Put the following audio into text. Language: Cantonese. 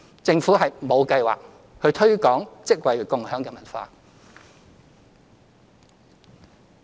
政府沒有計劃推廣"職位共享"的文化。